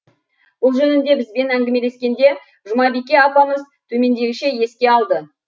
бұл жөнінде бізбен әңгімелескенде жұмабике апамыз төмендегіше еске алды